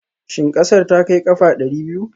Shin ƙasar ta kai ƙafa ɗari biyu?